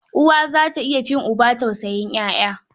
Uwa za ta iya fin uba tausayin ƴaƴa.